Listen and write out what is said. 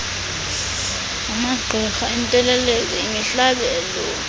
amagqirha iintelezi imihlabelo